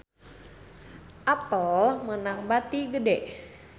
Apple meunang bati gede